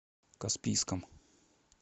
каспийском